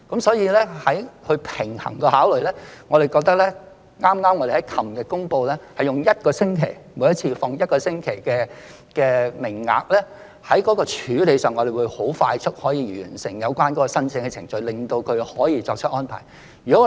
所以，在平衡這些考慮後，我們認為剛剛在昨天公布，每星期開放預約一次，提供一個星期的名額的處理方法，讓我們可以快速完成有關申請的程序，從而令他們可以作出相關的安排。